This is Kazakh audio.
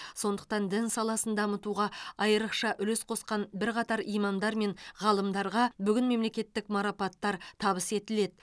сондықтан дін саласын дамытуға айрықша үлес қосқан бірқатар имамдар мен ғалымдарға бүгін мемлекеттік марапаттар табыс етіледі